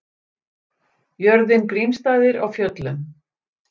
Jörðin Grímsstaðir á Fjöllum.